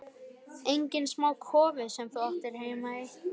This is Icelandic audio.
Enginn smá kofi sem þú átti heima í!